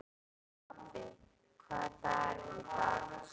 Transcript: Stapi, hvaða dagur er í dag?